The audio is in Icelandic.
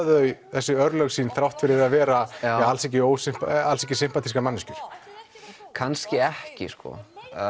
þau þessi örlög sín þrátt fyrir að vera alls ekki alls ekki sympatískar manneskjur kannski ekki sko